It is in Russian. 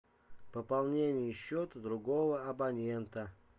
пополнение счета другого абонента